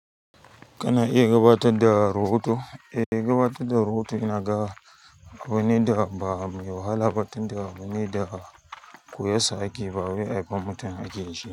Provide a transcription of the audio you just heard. Kana iya gabatad da rubutu? E, iya gabatar da rubutu ina ga abune da ba mai wahala ba tunda ni da koyassa ake ba wai haifan mutum akeyin shi.